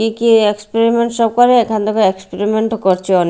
কি কি এক্সপেরিমেন্ট সব করে এখানে থেকে এক্সপেরিমেন্ট -ও করছে অনে--